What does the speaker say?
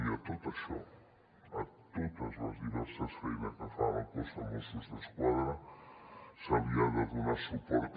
i a tot això a totes les diverses feines que fa el cos de mossos d’esquadra se li ha de donar suport